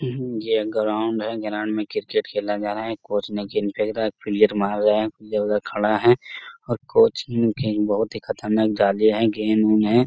यह ग्राउन्ड है ग्राउन्ड में क्रिकेट खेला जा रहा है कोच ने गेंद फेंक रहा है फ्री हिट मांग रहा है इधर उधर खड़ा हैं और कोच ने गेंद बहुत ही खतरनाक डाली है गेम उम है।